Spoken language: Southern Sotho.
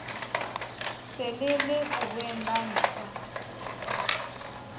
sele le bohweng ba ntja